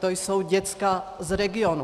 To jsou děcka z regionů.